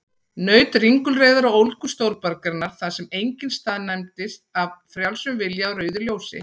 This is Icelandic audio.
Naut ringulreiðar og ólgu stórborgarinnar, þar sem enginn staðnæmist af frjálsum vilja á rauðu ljósi.